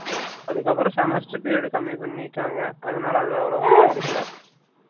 அதுக்கு அப்புறம் semester period கம்மி பண்ணிட்டாங்க அதுனால அத அவுலவா கண்டுக்கல